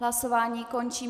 Hlasování končím.